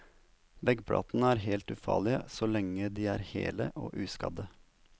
Veggplatene er helt ufarlige så lenge de er hele og uskadde.